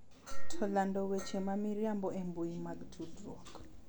To lando weche ma miriambo e mbui mag tudruok .